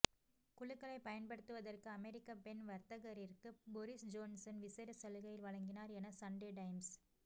குழுக்களை பயன்படுத்துவதற்கு அமெரிக்க பெண் வர்த்தகரிற்கு பொறிஸ்ஜோன்சன் விசேட சலுகைகளை வழங்கினார் என சண்டே டைம்ஸ்